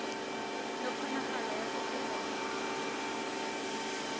le kgonagalo ya go feta